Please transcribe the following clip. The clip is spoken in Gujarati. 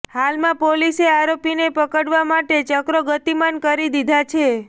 હાલમાં પોલીસે આરોપીને પકડવા માટે ચક્રોગતીમાન કરી દીધા છે